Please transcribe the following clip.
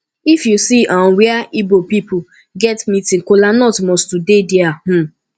if yu see um wia igbo pipol get meeting kolanut must to dey dia um